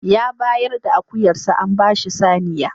Ya bayar da akuyarsa an ba shi saniya.